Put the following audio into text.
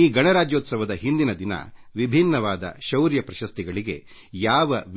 ಈ ಗಣರಾಜ್ಯೋತ್ಸವದ ಸಂದರ್ಭದಲ್ಲಿ ಅದರ ಮುನ್ನಾ ದಿನ ವಿವಿಧ ಶೌರ್ಯ ಪ್ರಶಸ್ತಿಗಳಿಗೆ